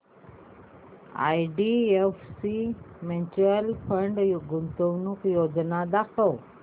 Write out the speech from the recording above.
IDFC mutual fund गुंतवणूक योजना दाखव